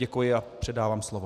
Děkuji a předávám slovo.